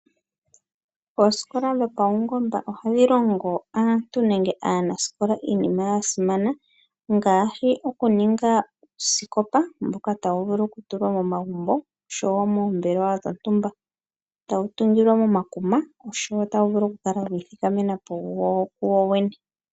Oosikola dhopaungomba ohadhi longo aantu nenge aanasikola iinima ya simana ngaashi, okuninga uusikopa mboka tawu vulu okutulwa momagumbo osho wo moombelewa dhontumba. Tawu tungilwa momakuma osho wo otawu vulu oku kala wiithikamena po kuwowene.